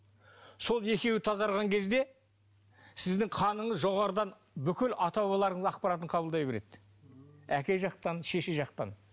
сол екеуі тазарған кезде сіздің қаныңыз жоғарыдан бүкіл ата бабаларыңыздың ақпаратын қабылдай береді әке жақтан шеше жақтан